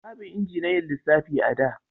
Babu inji na yin lissafi a da